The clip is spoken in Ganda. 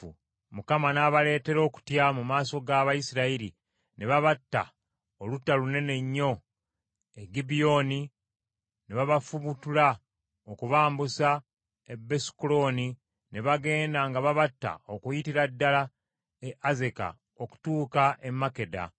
Mukama n’abaleetera okutya mu maaso g’Abayisirayiri ne babatta olutta lunene nnyo e Gibyoni ne babafubutula okubambusa e Besukolooni, ne bagenda nga babatta okuyitira ddala e Azeka okutuuka e Makkeda.